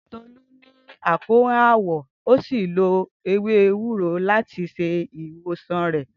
Tolu ni akoran awọ, o si lo ewe ewuro lati ṣe iwosan rẹ.